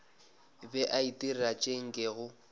be a itira tše nkego